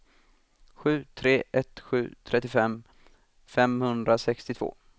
sju tre ett sju trettiofem femhundrasextiotvå